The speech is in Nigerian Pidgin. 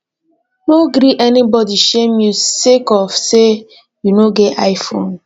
no gree anybodi shame you sake of sey you no get iphone